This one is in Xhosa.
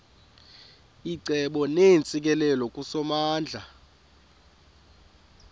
icebo neentsikelelo kusomandla